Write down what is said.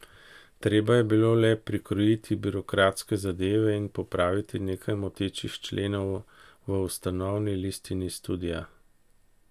Treba je bilo le prikrojiti birokratske zadeve in popraviti nekaj motečih členov v ustanovni listini studia.